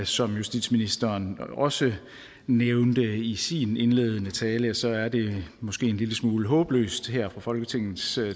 som justitsministeren også nævnte i sin indledende tale så er det måske en lille smule håbløst her fra folketingets